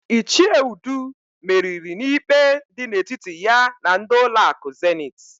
Ichie Udu meriri n'ikpe dị n'etiti ya na ndị ụlọakụ Zenit.